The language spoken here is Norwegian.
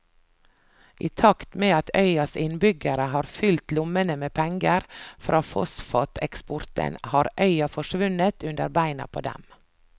I takt med at øyas innbyggere har fylt lommene med penger fra fosfateksporten har øya forsvunnet under beina på dem.